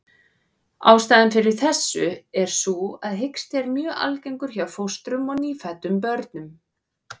Ástæðan fyrir þessu er sú að hiksti er mjög algengur hjá fóstrum og nýfæddum börnum.